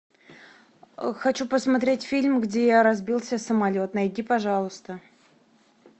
хочу посмотреть фильм где разбился самолет найди пожалуйста